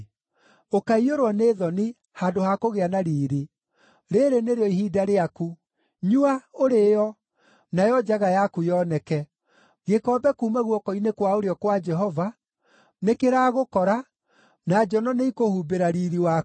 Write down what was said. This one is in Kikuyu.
Ũkaiyũrwo nĩ thoni, handũ ha kũgĩa na riiri. Rĩĩrĩ nĩrĩo ihinda rĩaku! Nyua, ũrĩĩo, nayo njaga yaku yoneke! Gĩkombe kuuma guoko-inĩ kwa ũrĩo kwa Jehova nĩkĩragũkora, na njono nĩikũhumbĩra riiri waku.